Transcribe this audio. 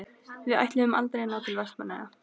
Við ætluðum aldrei að ná til Vestmannaeyja.